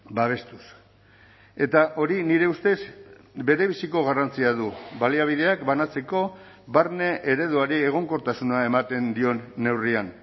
babestuz eta hori nire ustez berebiziko garrantzia du baliabideak banatzeko barne ereduari egonkortasuna ematen dion neurrian